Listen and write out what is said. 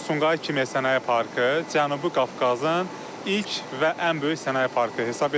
Sumqayıt Kimya Sənaye Parkı Cənubi Qafqazın ilk və ən böyük sənaye parkı hesab edilir.